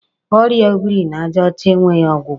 Ọrịa o biri n'ajaọcha e nweghi ọgwụgwọ.